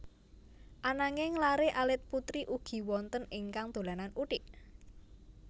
Ananging laré alit putri ugi wonten ingkang dolanan uthik